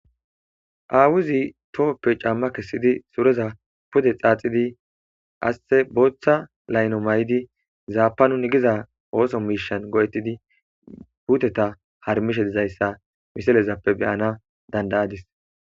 aawuzi tohoppe camma kessidi soreza pude xaaxidi aste booththa layno may7idi zaapanun igiza ooso miishan go7ettidi puuteta harmishe dizayssa miselezappe beyana dandayadis